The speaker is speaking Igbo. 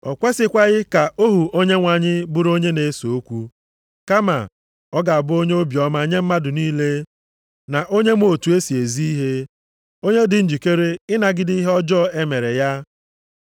O kwesikwaghị ka ohu Onyenwe anyị bụrụ onye na-ese okwu, kama, ọ ga-abụ onye obiọma nye mmadụ niile, na onye ma otu e si ezi ihe, onye dị njikere ịnagide ihe ọjọọ e mere ya.